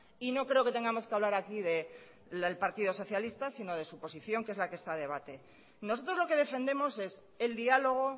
y no creo que tengamos que hablar aquí del partido socialista sino de su posición que es la que está a debate nosotros lo que defendemos es el diálogo